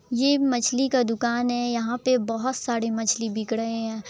ये मछली का दुकान है यहां पर बहुत सारे मछली बिक रहे हैं।